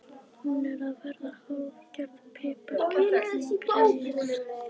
Hún er að verða hálfgerð piparkerling, greyið.